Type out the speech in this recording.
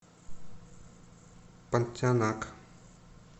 понтианак